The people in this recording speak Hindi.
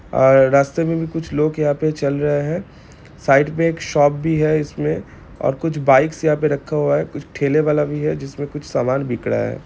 और रास्ते में भी कुछ लोग यहाँ पे चल रहे हैं साइड पे एक शॉप भी है इसमें और कुछ बाइकस यहाँ पर रखा हुआ है| कुछ ठेले वाला भी है जिसमें कुछ सामान बिक रहा है।